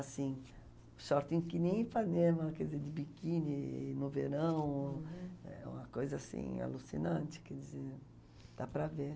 Assim, shortinho que nem Ipanema, quer dizer, de biquini no verão, eh, uma coisa assim alucinante, quer dizer, dá para ver.